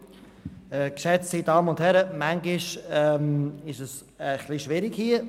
Manchmal ist es ein bisschen schwierig hier.